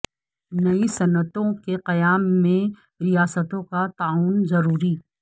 نئی صنعتوں کے قیام میں ریا ستوں کا تعاون ضروری